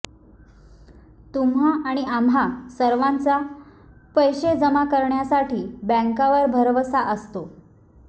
तुम्हा आणि आम्हा सर्वांचा पैसे जमा करण्यासाठी बँकावर भरवसा असतो